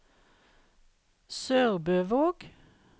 SørbØvåg